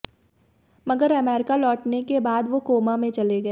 मगर अमरीका लौटने के बाद वो कोमा में चले गए